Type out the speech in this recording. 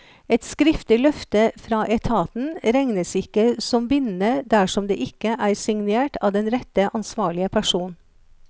Et skriftlig løfte fra etaten regnes ikke som bindende dersom det ikke er signert av den rette ansvarlige person.